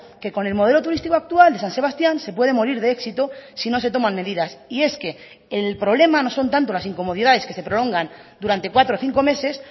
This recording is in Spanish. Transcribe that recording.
que con el modelo turístico actual de san sebastián se puede morir de éxito si no se toman medidas y es que el problema no son tanto las incomodidades que se prolongan durante cuatro o cinco meses